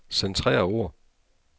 Centrer ord.